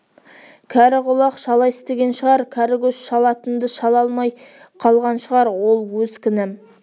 кәрі құлақ шала естіген шығар кәрі көз шалатынды шала алмай қалған шығар ол өз кінәм